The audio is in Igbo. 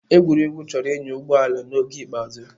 Egwurugwu chọrọ ịnya ụgbọ ala n'oge ikpeazụ.